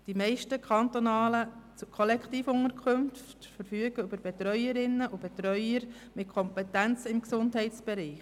Die meisten kantonalen Kollektivunterkünfte verfügen über Betreuerinnen und Betreuer mit Kompetenzen im Gesundheitsbereich.